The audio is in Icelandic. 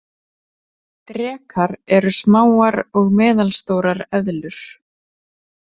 Drekar eru smáar og meðalstórar eðlur.